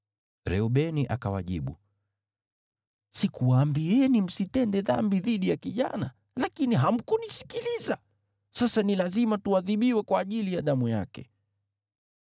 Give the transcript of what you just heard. Reubeni akawajibu, “Sikuwaambieni msitende dhambi dhidi ya kijana? Lakini hamkunisikiliza! Sasa ni lazima tuadhibiwe kwa ajili ya damu yake.”